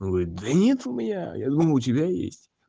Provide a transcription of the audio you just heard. ой да нет у меня я думал у тебя есть